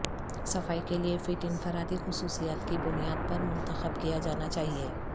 صفائی کے لئے فٹ انفرادی خصوصیات کی بنیاد پر منتخب کیا جانا چاہئے